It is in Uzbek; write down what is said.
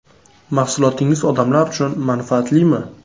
Mahsulotingiz odamlar uchun manfaatlimi?